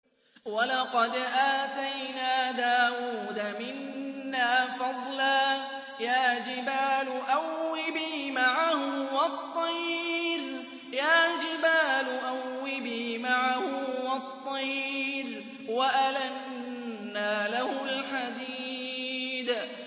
۞ وَلَقَدْ آتَيْنَا دَاوُودَ مِنَّا فَضْلًا ۖ يَا جِبَالُ أَوِّبِي مَعَهُ وَالطَّيْرَ ۖ وَأَلَنَّا لَهُ الْحَدِيدَ